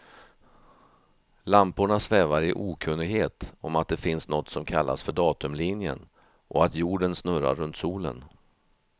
Lamporna svävar i okunnighet om att det finns något som kallas för datumlinjen, och att jorden snurrar runt solen.